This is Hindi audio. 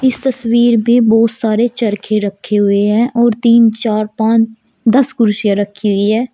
इस तस्वीर में बहोत सारे चरखे रखे हुए हैं और तीन चार पांच दस कुर्सियां रखी हुई है।